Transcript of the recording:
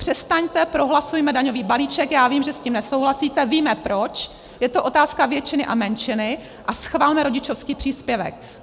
Přestaňte, prohlasujme daňový balíček, já vím, že s tím nesouhlasíte, víme proč, je to otázka většiny a menšiny, a schvalme rodičovský příspěvek.